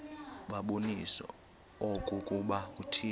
babonise okokuba uthixo